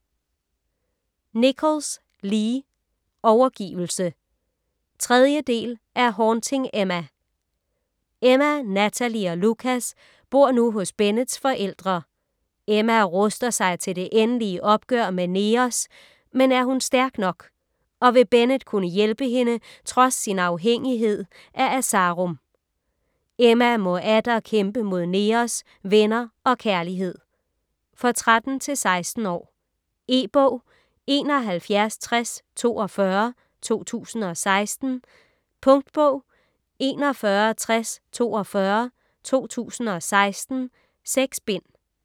Nichols, Lee: Overgivelse 3. del af Haunting Emma. Emma, Natalie og Lukas bor nu hos Bennetts forældre. Emma ruster sig til det endelig opgør med Neos, men er hun stærk nok? Og vil Bennett kunne hjælpe hende trods sin afhængighed af asarum. Emma må atter kæmpe mod Neos, venner og kærlighed. For 13-16 år. E-bog 716042 2016. Punktbog 416042 2016. 6 bind.